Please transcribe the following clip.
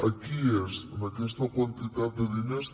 aquí és en aquesta quantitat de diners